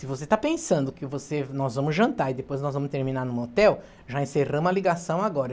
Se você está pensando que você, nós vamos jantar e depois nós vamos terminar num hotel, já encerramos a ligação agora.